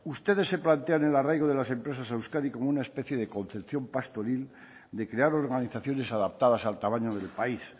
ustedes se plantean el arraigo de las empresas a euskadi como una especie de concepción pastoril de crear organizaciones adaptadas al tamaño del país